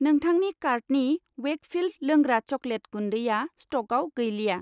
नोंथांनि कार्टनि वेकफिल्ड लोंग्रा चकलेट गुन्दैया स्टकआव गैलिया।